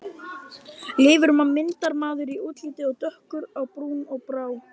Leifur var myndarmaður í útliti, dökkur á brún og brá.